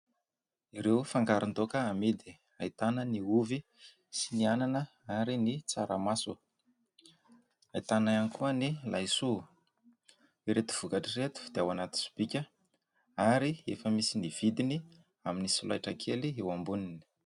Ireo fangaron-daoka amidy ahitana ny ovy sy ny anana ary ny tsaramaso ; ahitana ihany koa ny laisoa. Ireto vokatr'ireto dia ao anaty sobika ary efa misy ny vidiny amin'ny solaitra kely eo amboniny.